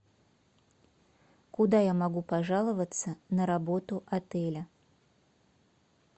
куда я могу пожаловаться на работу отеля